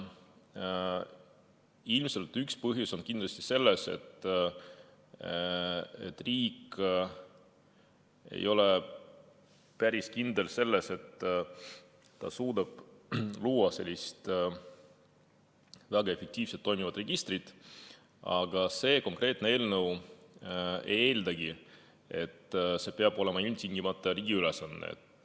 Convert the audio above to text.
Ilmselt üks põhjus on selles, et riik ei ole päris kindel, kas ta suudab luua sellise väga efektiivselt toimiva registri, aga see konkreetne eelnõu ei eeldagi, et see peab olema ilmtingimata riigi ülesanne.